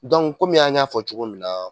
kɔmi an y'a fɔ cogo min na